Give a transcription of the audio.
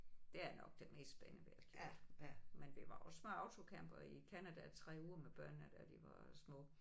Det er nok det mest spændende vi har gjort. Men vi var også med autocamper i Canada 3 uger med børnene da de var små